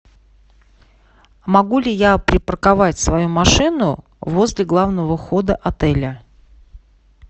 могу ли я припарковать свою машину возле главного входа отеля